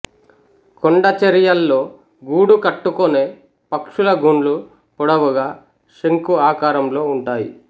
కొండ చరియల్లో గూడు కట్టుకొనే పక్షుల గుండ్లు పొడవుగా శంకు ఆకారంలో ఉంటాయి